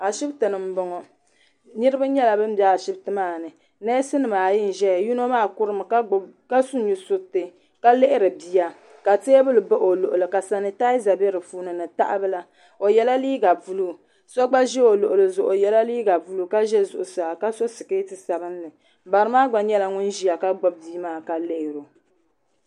Ashiptini m boŋɔ niriba nyɛla bin be ashipti maani neesi nima ayi n ʒɛya yino maa kurimi ka su nusuriti ka lihiri bia ka teebuli baɣi o luɣuli ka sanitaaza be dipuuni ni tahabila o yela liiga buluu so gba ʒi o luɣuli zuɣu o yela liiga buluu ka ʒɛ zuɣusaa ka so siketi sabinli barimaa gba nyɛla ŋun ʒia ka gbibi bia maa ka lihiri o.